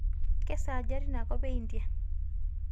keesaaja tinakop eindia